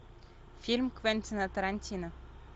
фильм квентина тарантино